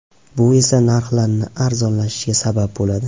Bu esa narxlarni arzonlashishiga sabab bo‘ladi.